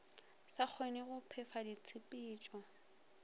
sa kgonege go phefa ditshepetšo